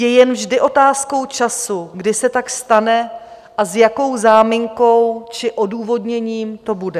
Je vždy jen otázkou času, kdy se tak stane a s jakou záminkou či odůvodněním to bude.